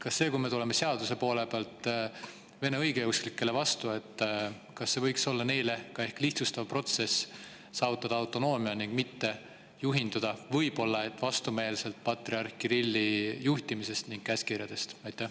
Kas see, kui me tuleme seaduse poole pealt vene õigeusklikele vastu, võiks olla neile lihtsustav protsess, et saavutada autonoomia ning mitte juhinduda – võib-olla vastumeelselt – patriarh Kirilli juhtimisest ja käskkirjadest?